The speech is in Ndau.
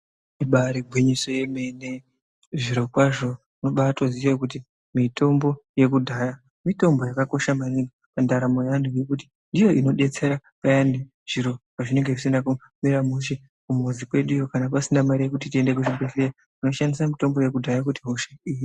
Ibaari gwinyiso yemene, zviro kwazvo, unobaatooziya kuti mitombo yekudhaya, mitombo inobetsera maningi, ngekuti zviro pezvinenge zvisina kumira mushe kumuzi kweduyo, pasina mare yekuti tiende kuzvibhedhlera, tinoshandisa mitombo yekudhaya kuti hosha ihine.